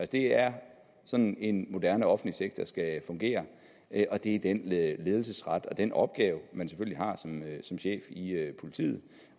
det er sådan en moderne offentlig sektor skal fungere og det er den ledelsesret og den opgave man selvfølgelig har som chef i politiet